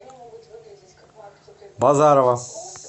базарова